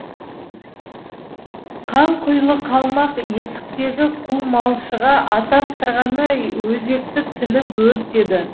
қанқұйлы қалмақ есіктегі құл малшыға атастырғаны өзекті тіліп өртеді